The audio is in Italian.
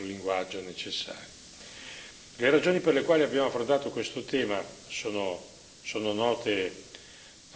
Le ragioni per le quali abbiamo affrontato questo tema sono note a tutti coloro che sono qui presenti.